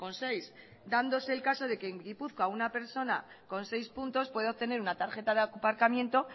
seis dándose el caso de que en gipuzkoa una persona con seis puntos puede obtener una tarjeta de aparcamiento